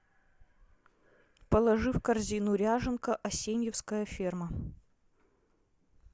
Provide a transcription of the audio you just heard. положи в корзину ряженка асеньевская ферма